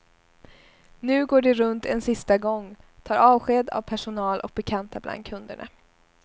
Nu går de runt en sista gång, tar avsked av personal och bekanta bland kunderna.